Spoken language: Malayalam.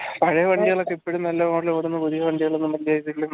പഴേ വണ്ടികൾ പുതിയഹിയ വണ്ടിയൊന്നും